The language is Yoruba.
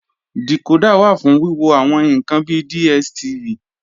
Dìkódà wà fún wíwo àwọn ǹkan bi DSTV